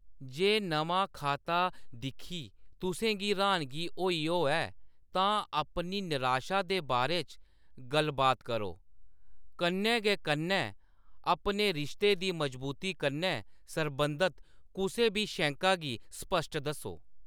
जे नमां खाता दिक्खी तुसें गी र्‌हानगी होई होऐ, तां अपनी नराशा दे बारे च गल्ल-बात करो, कन्नै गै कन्नै अपने रिश्ते दी मज़बूती कन्नै सरबंधत कुसै बी शैंका गी स्पश्ट दस्सो।